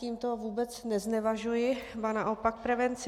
Tímto vůbec neznevažuji, ba naopak, prevenci.